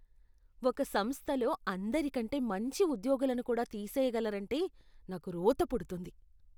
ఒక సంస్థలో అందరికంటే మంచి ఉద్యోగులను కూడా తీసేయగలరంటే నాకు రోత పుడుతుంది.